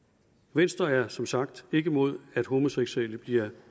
venstre er som sagt ikke imod at homoseksuelle bliver